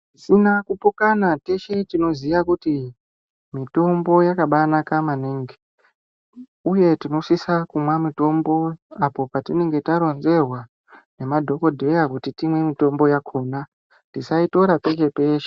Zvisina kupokana teshe tinoziya kuti mitombo yakambaanaka maningi, uye tinosisa kumwa mitombo apo patinenge taronzerwa ngemadhokodheya kuti timwe mitombo yakona. Tisaitora peshe peshe.